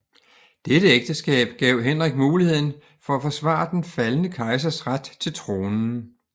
Dette ægteskab gav Henrik muligheden for at forsvare den faldne kejsers ret til tronen